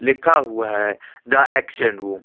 लिखा हुआ है द एक्शन रूम --